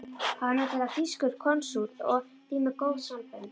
Hann var nefnilega þýskur konsúll og því með góð sambönd.